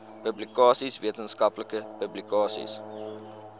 publikasies wetenskaplike publikasies